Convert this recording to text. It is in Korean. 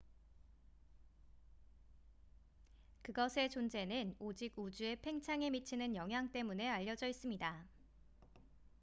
그것의 존재는 오직 우주의 팽창에 미치는 영향 때문에 알려져 있습니다